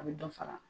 A bɛ dɔ fara